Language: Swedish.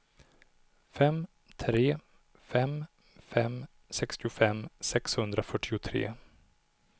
fem tre fem fem sextiofem sexhundrafyrtiotre